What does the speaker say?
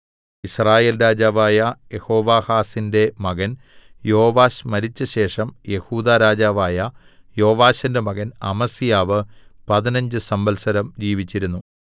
യിസ്രായേൽ രാജാവായ യെഹോവാഹാസിന്റെ മകൻ യോവാശ് മരിച്ചശേഷം യെഹൂദാ രാജാവായ യോവാശിന്റെ മകൻ അമസ്യാവ് പതിനഞ്ച് സംവത്സരം ജീവിച്ചിരുന്നു